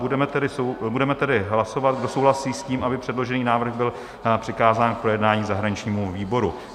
Budeme tedy hlasovat, kdo souhlasí s tím, aby předložený návrh byl přikázán k projednání zahraničnímu výboru.